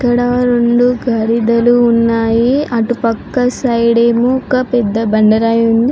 ఇక్కడా రెండు పరిడలు ఉన్నాయి అటు పక్కన సైడ్ ఏమో ఒక పేద బండ రాయి ఉన్నది.